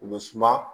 U bɛ suma